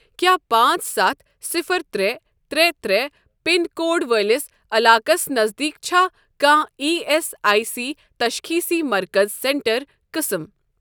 کیٛاہ پانٛژ ستھ صفر ترٛے ترٛے ترٛے پِن کوڈ وٲلِس علاقس نزدیٖک چھا کانٛہہ ایی ایس آٮٔۍ سی تشخیٖصی مرکز سینٹر قٕسم؟